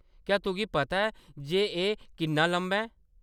क्या‌ तुगी पता ऐ जे एह् किन्ना लम्मा ऐ?